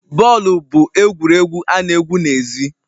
Bọọlụ bụ egwuregwu ana egwu n'ezi